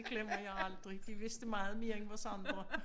Glemmer jeg aldrig de vidste meget mere end os andre